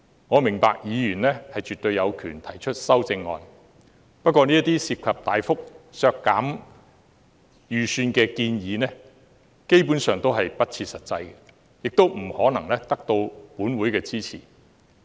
我明白議員絕對有權提出修正案，不過這些涉及大幅削減預算開支的建議，基本上都是不切實際，亦不可能得到立法會的支持。